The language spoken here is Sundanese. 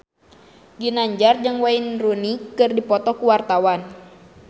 Ginanjar jeung Wayne Rooney keur dipoto ku wartawan